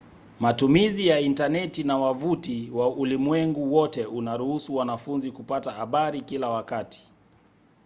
matumizi ya intaneti na wavuti wa ulimwengu wote unaruhusu wanafunzi kupata habari kila wakati